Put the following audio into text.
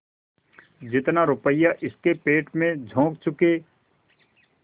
जितना रुपया इसके पेट में झोंक चुके